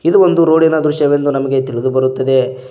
ಇದು ಒಂದು ರೋಡಿನ ದೃಶ್ಯವೆಂದು ನಮಗೆ ತಿಳಿದುಬರುತ್ತದೆ.